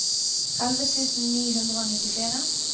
elleve tusen ni hundre og nittitre